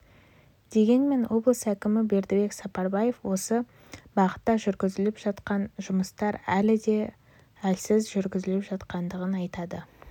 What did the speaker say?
дегенмен облыс әкімі бердібек сапарбаев осы бағытта жүргізіліп жатқан жұмыстар әлі де әлсіз жүргізіліп жатқандығын айтады